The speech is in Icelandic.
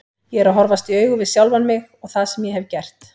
Ég er að horfast í augu við sjálfan mig og það sem ég hef gert.